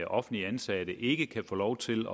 offentligt ansatte ikke kan få lov til